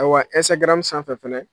Ayiwa Instagram sanfɛ fɛnɛ